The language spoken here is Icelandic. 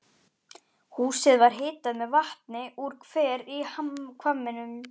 Húsið var hitað með vatni úr hver í hvamminum.